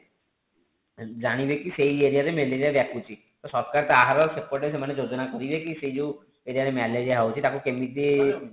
ଜାଣିବେ କି ସେଇ area ରେ ମେଲେରୀୟା ବ୍ୟାପୁଛି ତ ସରକାର ତାର ସେପଟେ ସେମାନେ ଯୋଜୋନା କରିବେ କି ସେଇ ଯୋଉ area ରେ ମେଲେରୀୟା ହୋଉଛି ତାକୁ କେମିତି